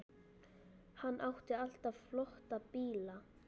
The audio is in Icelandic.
Hann átti alltaf flotta bíla.